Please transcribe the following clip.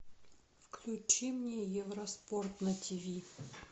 включи мне евроспорт на тиви